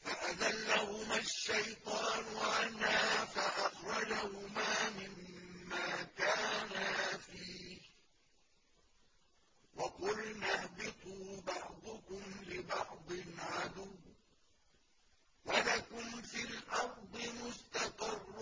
فَأَزَلَّهُمَا الشَّيْطَانُ عَنْهَا فَأَخْرَجَهُمَا مِمَّا كَانَا فِيهِ ۖ وَقُلْنَا اهْبِطُوا بَعْضُكُمْ لِبَعْضٍ عَدُوٌّ ۖ وَلَكُمْ فِي الْأَرْضِ مُسْتَقَرٌّ